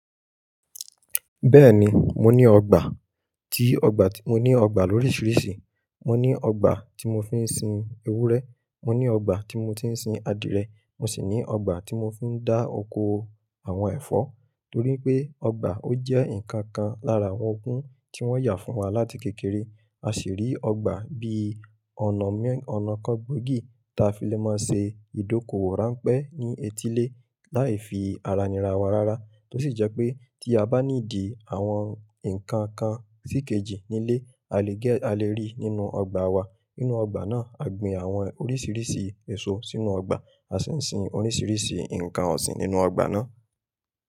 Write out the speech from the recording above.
Bẹ́ẹ̀ni, mo ní ọgbà, tí ọgbà tí mo ní ọgbà lóríṣiríṣi. Mo ní ọgbà tí mo fi ń sin ewúrẹ́, mo ní ọgbà tí mo ti ń sin adìẹ, mo sì ní ọgbà tí mo ń fi dá oko àwọn ẹ̀fọ́. Torí pé ọgbà ó jẹ́ nǹkan kan lára àwọn ogún tí wọ́n yà fún wa láti kékeré. A sì rí ọgbà bí ọ̀nà mẹ́, ọ̀nà kan gbòógì tí a fi lè máa ṣe ìdókò owó ránpẹ́ ní etílé láì fi ara ni ra wa rárá. Tó sì jẹ́ pé tí a bá ní di àwọn nǹkan kan síkejì nílé, a lè gẹ, a lè rí nínú ọgbà wa. Nínú ọgbà náà, a gbin àwọn oríṣiríṣi èso sínú ọgbà, a sì sin oríṣiríṣi nǹkan ọ̀sìn nínú ọgbà náà.